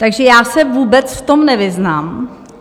Takže já se vůbec v tom nevyznám.